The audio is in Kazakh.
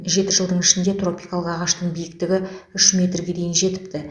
жеті жылдың ішінде тропикалық ағаштың биіктігі үш метрге дейін жетіпті